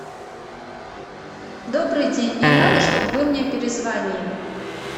добрый день мне надо чтобы вы мне перезвонили